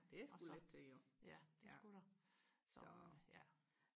og så ja det skulle der så ja